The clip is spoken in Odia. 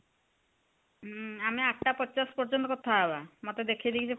ହୁଁ ଆମେ ଆଠଟା ପଚାଶେ ପର୍ଯ୍ୟନ୍ତ କଥା ହବା ମତେ ସେ ଦେଖେଇ ଦେଇକି ସେ